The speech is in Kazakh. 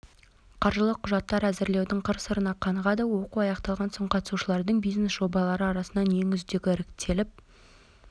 қаржылық құжаттар әзірлеудің қыр-сырына қанығады оқу аяқталған соң қатысушылардың бизнес жобалары арасынан ең үздігі іріктеліп